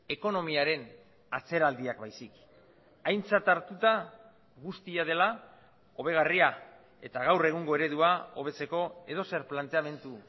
ekonomiaren atzeraldiak baizik aintzat hartuta guztia dela hobegarria eta gaur egungo eredua hobetzeko edozer planteamendu